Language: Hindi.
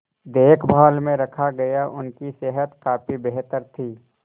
देखभाल में रखा गया उनकी सेहत काफी बेहतर थी